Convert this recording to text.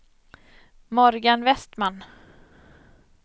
Morgan Westman